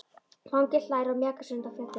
Fanginn hlær og mjakar sér undan fjallinu.